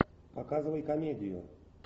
показывай комедию